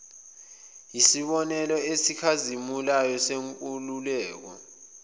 yisibonelo esikhazimulayo senkululeko